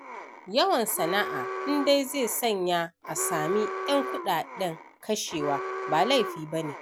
Yawan sana'a in dai zai sanya a sami 'yan kuɗaɗen kashewa ba laifi ba ne.